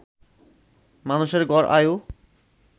মানুষের গড় আয়ু